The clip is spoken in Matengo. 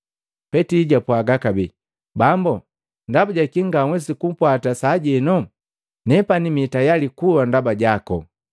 Petili jwapwaga kabee, “Bambo, ndaba jakii nganhwesi kugupwata sajeno? Nepani mitayali kuwa ndaba jako!”